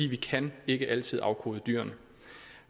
vi kan ikke altid afkode dyrene